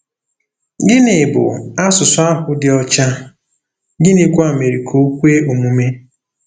Gịnị bụ ““ asụsụ ahụ dị ọcha ,” gịnịkwa mere ka o kwe omume?